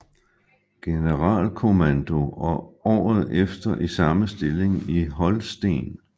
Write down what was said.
Generalkommando og året efter i samme stilling i Holsten